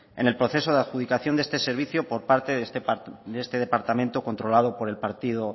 en el proceso de adjudicación de este servicio por parte de este departamento controlado por el partido